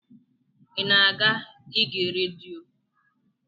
I na-aga ige redio?